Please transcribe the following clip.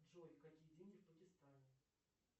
джой какие деньги в пакистане